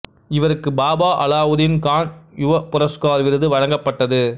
இவருக்கு பாபா அலாவுதீன் கான் யுவ புரஸ்கார் விருது வழங்கப்பட்டது